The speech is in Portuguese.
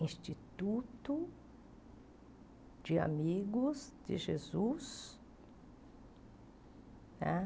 Instituto de Amigos de Jesus né.